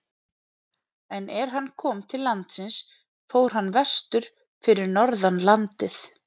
En er hann kom til landsins fór hann vestur fyrir norðan landið.